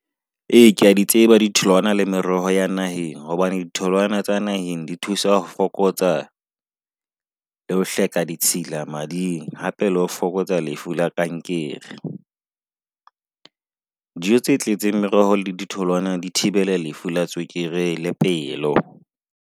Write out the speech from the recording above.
Ee, kea di tseba ditholwana le meroho ya naheng hobane di tholwana tsa naheng di thusa ho fokotsa le ho hleka ditshila mading. Hape leho fokotsa lefu la kankere. Dijo tse tletseng meroho le di tholwana di thibelang lefu la tswekere le pelo.